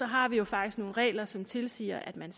har vi jo faktisk nogle regler som tilsiger at man